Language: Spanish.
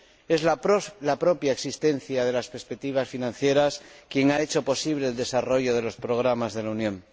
Es la propia existencia de las perspectivas financieras lo que ha hecho posible el desarrollo de los programas de la Unión.